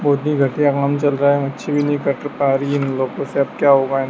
बहोत ही घटिया काम चल रहा है मच्छि भी नही कट पा रही है उन लोगो से अब क्या हो पाये--